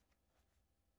DR P3